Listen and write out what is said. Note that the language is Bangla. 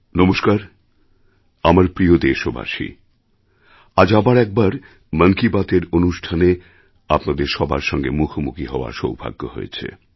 নমস্কার আমার প্রিয় দেশবাসী আজ আবার একবার মন কি বাতএর এই অনুষ্ঠানে আপনাদের সবার সঙ্গেমুখোমুখি হওয়ার সৌভাগ্য হয়েছে